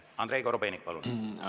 Andrei Korobeinik, palun!